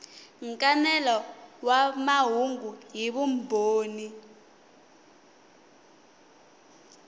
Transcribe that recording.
nkanelo wa mahungu hi vumbhoni